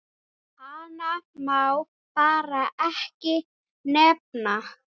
Hana má bara ekki nefna.